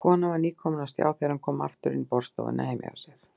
Konan var nýkomin á stjá þegar hann kom aftur inn í borðstofuna heima hjá sér.